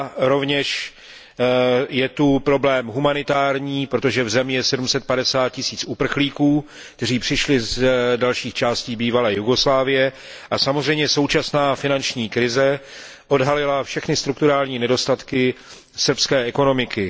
Rovněž je zde problém humanitární, protože v zemi je 750 tisíc uprchlíků, kteří přišli z dalších částí bývalé Jugoslávie, a samozřejmě současná finanční krize odhalila všechny strukturální nedostatky srbské ekonomiky.